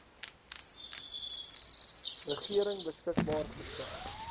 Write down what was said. regering beskikbaar gestel